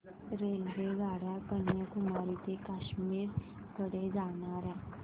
रेल्वेगाड्या कन्याकुमारी ते काश्मीर कडे जाणाऱ्या